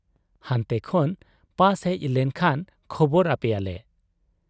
ᱦᱟᱱᱛᱮ ᱠᱷᱚᱱ ᱯᱟᱥ ᱦᱮᱡ ᱞᱮᱱ ᱠᱷᱟᱱ ᱠᱷᱚᱵᱚᱨ ᱟᱯᱮᱭᱟᱞᱮ ᱾